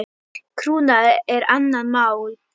Krúna er annað mál.